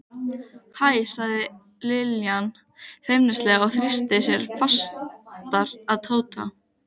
Hæ sagði Linja feimnislega og þrýsti sér fastar að Tóta.